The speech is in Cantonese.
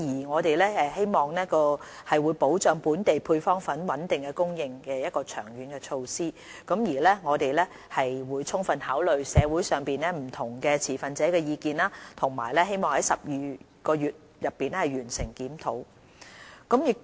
我們希望研究保障本地配方粉穩定供應的長遠措施，過程中將充分考慮社會上不同持份者的意見，期望於12個月內完成檢討。